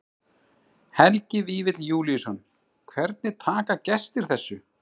Helgi Vífill Júlíusson: Hvernig taka gestir þessu?